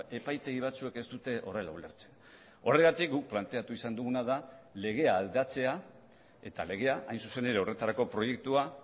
epaitegi batzuek ez dute horrela ulertzen horregatik guk planteatu izan duguna da legea aldatzea eta legea hain zuzen ere horretarako proiektua